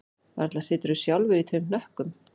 Varla siturðu sjálfur í tveim hnökkum